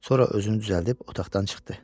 Sonra özünü düzəldib otaqdan çıxdı.